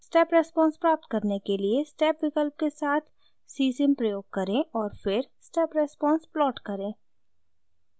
step response प्राप्त करने के लिए स्टेप विकल्प के साथ csim प्रयोग करें और फिर step response प्लॉट करें